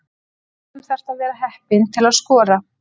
Stundum þarftu að vera heppinn til að skora.